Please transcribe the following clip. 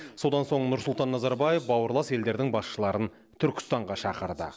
содан соң нұрсұлтан назарбаев бауырлас елдердің басшыларын түркістанға шақырды